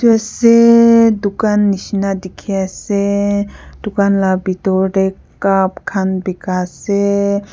Tuasseee dukhan neshina dekhise dukhan la pithor dae cup khan beka ase.